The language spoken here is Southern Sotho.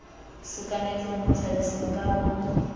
sekametseng ho tshabiseng ka ho